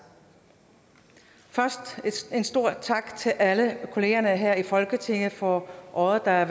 først en stor tak til alle kollegerne her i folketinget for året der er